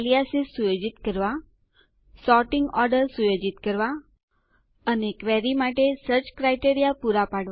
aliases સુયોજિત કરવા sorting order સુયોજિત કરવા અને ક્વેરી માટે સર્ચ ક્રાઈટેરીયા પુરૂ કરવા